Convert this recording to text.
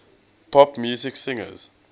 pop music singers